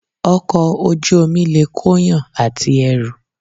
Ọkọ̀ Ojú omi lè kóyàn àti ẹrù